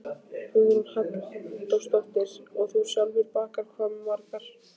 Hugrún Halldórsdóttir: Og þú sjálfur bakar hvað margar?